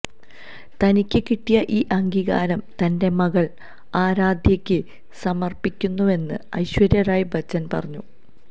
തനിക്ക് കിട്ടിയ ഈ അംഗീകാരം തന്റെ മകള് ആരാധ്യയ്ക്ക് സമര്പ്പിക്കുന്നുവെന്ന് ഐശ്വര്യ റായ് ബച്ചന് പറഞ്ഞു